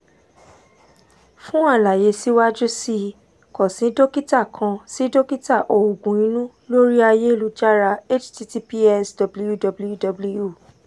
fun alaye siwaju sii kan si dokita kan si dokita oogun inu lori ayelujara https www